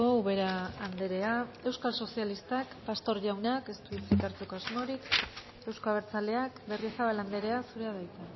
ubera anderea euskal sozialistak pastor jaunak ez du hitzik hartzeko asmorik euzko abertzaleak berriozabal anderea zurea da hitza